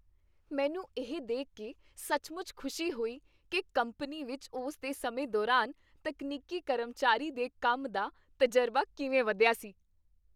ਮੈਨੂੰ ਇਹ ਦੇਖ ਕੇ ਸੱਚਮੁੱਚ ਖੁਸ਼ੀ ਹੋਈ ਕਿ ਕੰਪਨੀ ਵਿੱਚ ਉਸ ਦੇ ਸਮੇਂ ਦੌਰਾਨ ਤਕਨੀਕੀ ਕਰਮਚਾਰੀ ਦੇ ਕੰਮ ਦਾ ਤਜਰਬਾ ਕਿਵੇਂ ਵਧਿਆ ਸੀ।